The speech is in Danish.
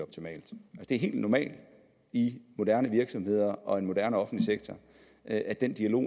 det er helt normalt i moderne virksomheder og en moderne offentlig sektor at den dialog